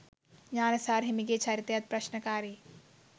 ඥාන සාර හිමිගේ චරිතයත් ප්‍රශ්නකාරීයි.